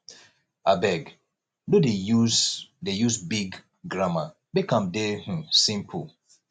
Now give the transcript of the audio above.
abeg no dey use dey use big grammar make am dey um simple